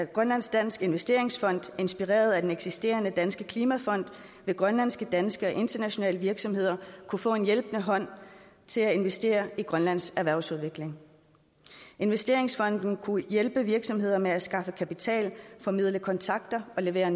grønlandsk dansk investeringsfond inspireret af den eksisterende danske klimafond vil grønlandske danske og internationale virksomheder kunne få en hjælpende hånd til at investere i grønlands erhvervsudvikling investeringsfonden kunne hjælpe virksomheder med at skaffe kapital formidle kontakter og levere